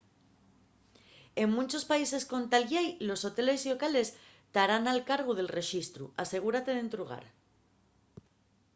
en munchos países con tal llei los hoteles llocales tarán al cargu del rexistru asegúrate d’entrugar